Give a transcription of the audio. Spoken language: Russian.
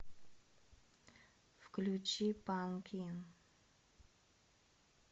включи панкин